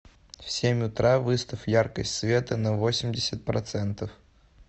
в семь утра выставь яркость света на восемьдесят процентов